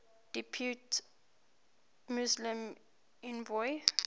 depute muslim envoy